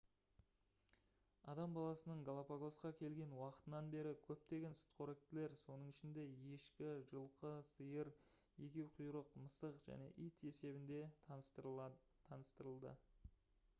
адам баласының галапагосқа келген уақытынан бері көптеген сүтқоректілер соның ішінде ешкі жылқы сиыр егеуқұйрық мысық және ит есебінде таныстырылды